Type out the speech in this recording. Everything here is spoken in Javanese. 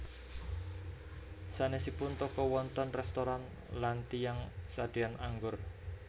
Sanèsipun toko wonten réstoran lan tiyang sadéan anggur